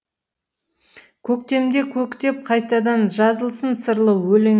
көктемде көктеп қайтадан жазылсын сырлы өлең